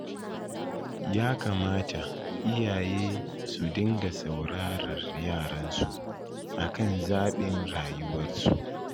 Ya kamata iyaye su dinga saurarar yaransu akan zaɓin rayuwarsu.